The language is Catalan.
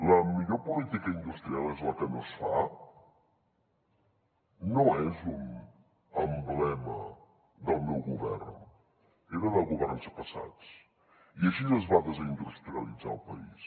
la millor política industrial és la que no es fa no és un emblema del meu govern era de governs passats i així es va desindustrialitzar el país